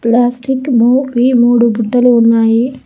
Plastic బు వి మూడు బుట్టలు ఉన్నాయి.